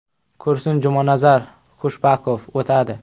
Kursni Jumanazar Khushbakov o‘tadi.